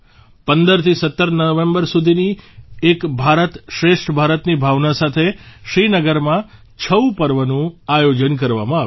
15 થી 17 નવેમ્બર સુધી એક ભારત શ્રેષ્ઠ ભારતની ભાવના સાથે શ્રીનગરમાં છઉ પર્વનું આયોજન કરવામાં આવ્યું